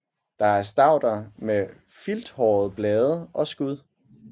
Det er stauder med filthårede blade og skud